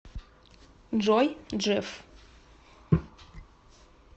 джой джефф